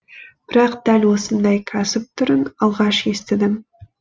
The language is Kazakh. бірақ дәл осындай кәсіп түрін алғаш естідім